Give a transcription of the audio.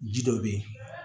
Ji dɔ be yen